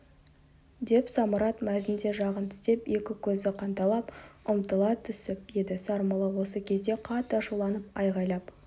деп самұрат мәзін де жағын тістеп екі көзі қанталап ұмтыла түсіп еді сармолла осы кезде қатты ашуланып айғайлап